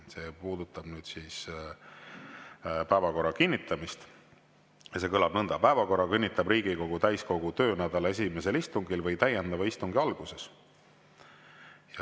See puudutab päevakorra kinnitamist ja kõlab nõnda: "Päevakorra kinnitab Riigikogu täiskogu töönädala esimesel istungil või täiendava istungi alguses.